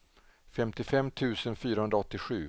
femtiofem tusen fyrahundraåttiosju